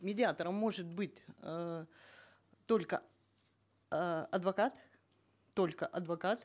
медиатором может быть э только э адвокат только адвокат